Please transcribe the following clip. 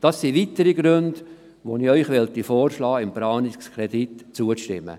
Dies sind weitere Gründe, weswegen ich Ihnen vorschlagen möchte, dem Planungskredit zuzustimmen.